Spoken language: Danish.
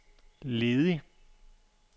ledig